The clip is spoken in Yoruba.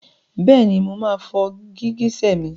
Bẹ́ẹ̀ni máa fọ gìgísẹ̀ mi.